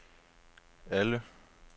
alle